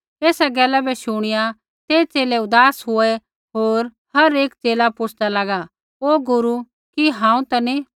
एसा गैला शुणिया ते च़ेले ऊदास हुऐ होर हर एक च़ेला पुछ़दा लागा हे गुरू कि हांऊँ ता नी